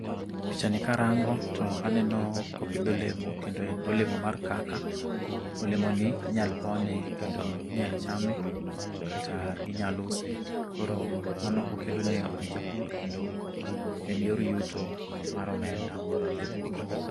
Picha ni karango to aneno ka opidh olemo. Kendo en olemo mar kaka. Olemo ni inyal pone kendo inyal chame, kata inyal use. Koro mano okelo nengo ne japur kendo en yor yuto mar omenda kuom japur.